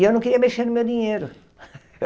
E eu não queria mexer no meu dinheiro.